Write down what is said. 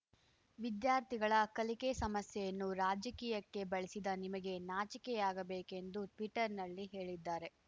ವಿದ್ಯಾರ್ಥಿಗಳ ಕಲಿಕೆ ಸಮಸ್ಯೆಯನ್ನು ರಾಜಕೀಯಕ್ಕೆ ಬಳಸಿದ ನಿಮಗೆ ನಾಚಿಕೆಯಾಗಬೇಕೆಂದು ಟ್ವೀಟರ್‌ನಲ್ಲಿ ಹೇಳಿದ್ದಾರೆ